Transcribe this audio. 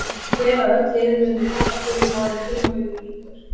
Ég tel að öll liðin muni tapa stigum áður en tímabilinu lýkur.